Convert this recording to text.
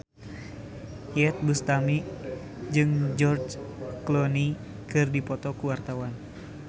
Iyeth Bustami jeung George Clooney keur dipoto ku wartawan